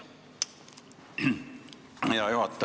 Hea juhataja!